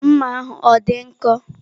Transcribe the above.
Mma ahụ ọ dị nkọ?